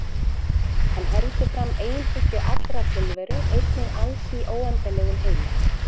Hann heldur fram einhyggju allrar tilveru, einingu alls í óendanlegum heimi.